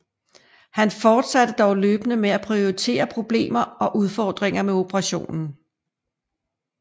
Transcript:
Han forsatte dog løbende med at pointere problemer og udfordringer med operationen